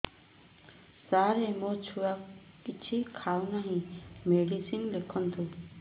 ସାର ମୋ ଛୁଆ କିଛି ଖାଉ ନାହିଁ ମେଡିସିନ ଲେଖନ୍ତୁ